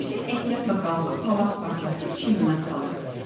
Hüseyn ehtiyatla qalxıb palaz parçasını çiyninə saldı.